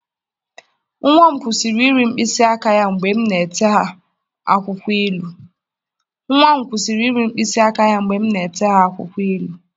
Nwa m kwụsịrị iri mkpịsị aka ya mgbe m na-ete ha akwụkwọ ilu.